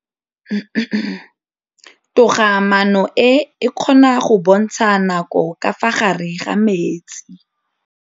Toga-maanô e, e kgona go bontsha nakô ka fa gare ga metsi.